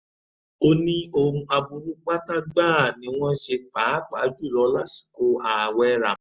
ó ní ohun aburú pátá gbáà ni wọ́n ṣe pàápàá jù lọ lásìkò ààwẹ̀ ramadan